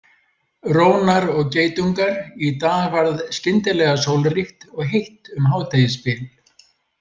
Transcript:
Rónar og geitungar Í dag varð skyndilega sólríkt og heitt um hádegisbil.